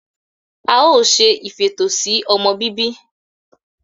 We will be doing family planning.